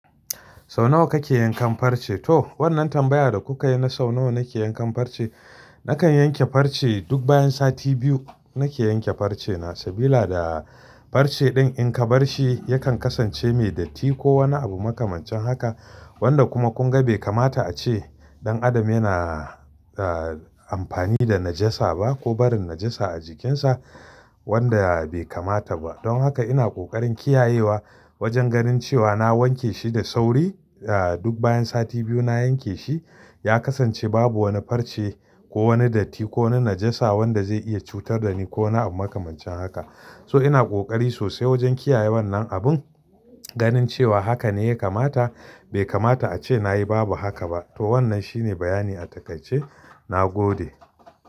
Sau nawa kake yankan farce? To wannan tambaya da kuka yi na sau nawa nake yankan farce, nakan yanke farce duk bayan sati biyu nake yanke farce na. Sabila da farce din in ka barshi yakan kasance mai datti ko wani abu makamancin haka wanda kuma kunga bai kamata a ce ɗan adam yana, ah, amfani da najasa ba ko barin najasa a jikinsa wanda bai kamata ba. Don haka ina kokarin kiyayewa wajen ganin cewa na wanke shi da sauri, ah, duk bayan sati biyu na yanke shi. Ya kasance babu wani farce ko wani datti ko wani najasa wanda zai iya cutar da ni ko wani abu makamancin haka. So ina kokari sosai wajen kiyaye wannan abun ganin cewa haka ne ya kamata. Bai kamata a ce nayi babu haka ba. To wannan shine bayani a takai ce na gode.